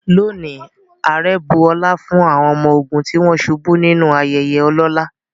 Today, the president honored fallen soldiers in a solemn ceremony.